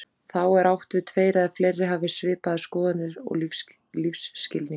Þá er átt við tveir eða fleiri hafi svipaðar skoðanir og lífsskilning.